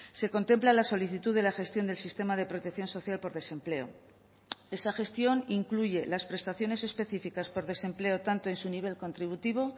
se contempla la solicitud de la gestión del sistema de protección social por desempleo esa gestión incluye las prestaciones específicas por desempleo tanto en su nivel contributivo